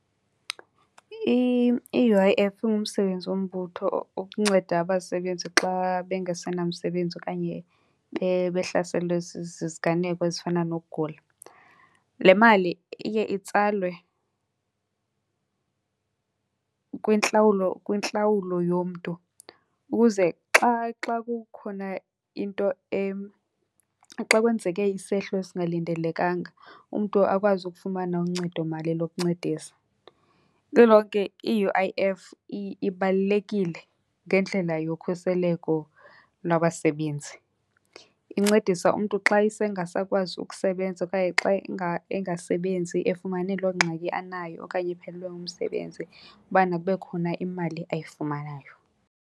I-U_I_F ingumsebenzi wombutho ukunceda abasebenzi xa bengasenamsebenzi okanye behlaselwe ziziganeko ezifana nokugula. Le mali iye itsalwe kwintlawulo, kwintlawulo yomntu ukuze xa, xa kukhona into , xa kwenzeke isehlo esingalindelekanga umntu akwazi ukufumana uncedomali lokuncedisa. Lilonke i-U_I_F ibalulekile ngendlela yokhuseleko lwabasebenzi. Incedisa umntu xa esengasakwazi ukusebenza okanye xa engasebenzi efumane loo ngxaki anayo okanye ephelelwe ngumsebenzi ubana kube khona imali ayifumanayo.